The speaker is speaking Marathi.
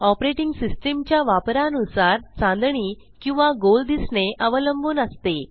ऑपरेटिंग सिस्टीमच्या वापरानुसार चांदणी किंवा गोल दिसणे अवलंबून असते